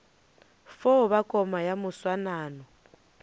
fo ba koma ya moswanano